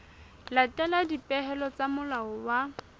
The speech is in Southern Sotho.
latela dipehelo tsa molao wa